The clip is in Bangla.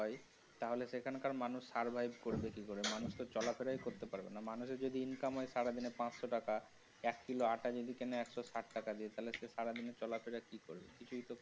হয় তাহলে সেখানকার মানুষ survive করবে কি করে, মানুষতো চলাফেরাই করতে পারবেনা। মানুষের যদি income হয় সারাদিনে পাঁচশো টাকা এক কিলো আটা যদি কেনে একশো ষাট টাকা দিয়ে থালে সে সারাদিনে চলাফেরা কি করবে? কিছুই তো করতে পারবেনা।